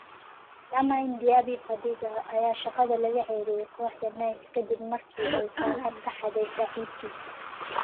Lamine Diaby-Fadiga ayaa shaqada laga ceyriyay kooxda Nice ka dib markii ay saacad ka xaday saaxiibkiis